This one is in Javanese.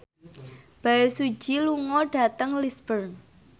Bae Su Ji lunga dhateng Lisburn